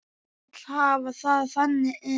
Vil hafa það þannig enn.